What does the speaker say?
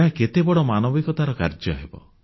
ଏହା କେତେ ବଡ଼ ମାନବିକତାର କାର୍ଯ୍ୟ ହେବ